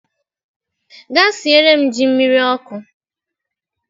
Gaa siere m ji miri oku